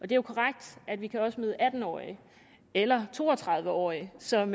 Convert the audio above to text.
det er korrekt at vi også kan møde atten årige eller to og tredive årige som